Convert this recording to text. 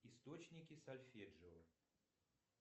источники сольфеджио